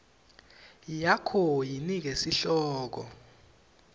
yakho yinike sihloko